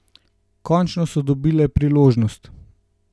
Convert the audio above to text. Končno so dobile priložnost.